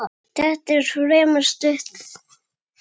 Þetta var fremur stutt þing.